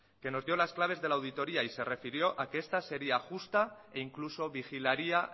que nos dio las claves de la auditoría y se refirió a que esta sería justa e incluso vigilaría